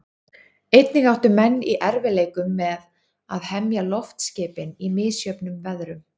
Einnig áttu menn í erfiðleikum með að hemja loftskipin í misjöfnum veðrum.